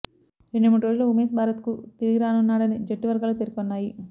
రెండు మూడు రోజుల్లో ఉమేశ్ భారత్కు తిరుగిరానున్నాడని జట్టు వర్గాలు పేర్కొన్నాయి